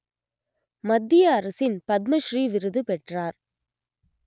மத்திய அரசின் பத்ம ஸ்ரீ விருது பெற்றார்